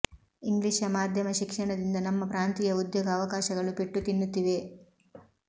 English ಮಾಧ್ಯಮ ಶಿಕ್ಷಣದಿಂದ ನಮ್ಮ ಪ್ರಾಂತೀಯ ಉದ್ಯೋಗ ಅವಕಾಶಗಳು ಪೆಟ್ಟು ತಿನ್ನುತ್ತಿವೆ